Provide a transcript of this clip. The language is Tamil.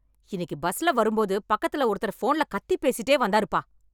இன்னைக்கு பஸ்ல வரும்போது பக்கத்துல ஒருத்தர் போன்ல கத்தி பேசிட்டே வந்தாருப்பா.